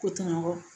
Ko tɔɲɔgɔn